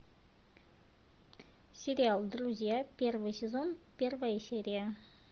сериал друзья первый сезон первая серия